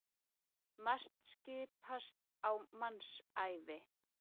Margt skipast á mannsævi.